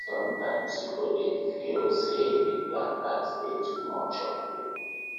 sometimes you go dey feel say di black tax dey too much for you